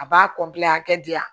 A b'a a hakɛ di yan